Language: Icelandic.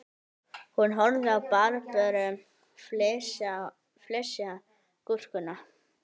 Hún horfði á Barböru flysja gúrkuna